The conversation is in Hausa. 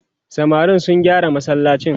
samarin sun gyara masallacin